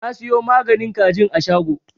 Na siyo maganin kajin a shago.